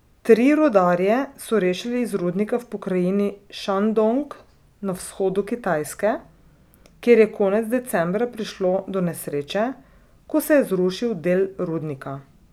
Tri rudarje so rešili iz rudnika v pokrajini Šandong na vzhodu Kitajske, kjer je konec decembra prišlo do nesreče, ko se je zrušil del rudnika.